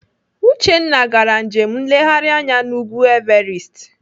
Uchenna gara njem nleghari anya n'ugwu Everest.